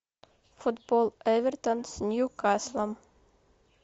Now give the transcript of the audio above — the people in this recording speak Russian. футбол эвертон с ньюкаслом